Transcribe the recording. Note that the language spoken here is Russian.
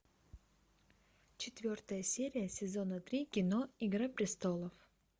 четвертая серия сезона три кино игра престолов